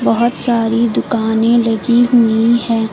बहुत सारी दुकानें लगी हुई है।